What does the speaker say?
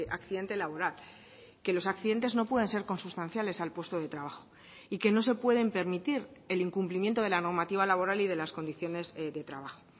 accidente laboral que los accidentes no pueden ser consustanciales al puesto de trabajo y que no se pueden permitir el incumplimiento de la normativa laboral y de las condiciones de trabajo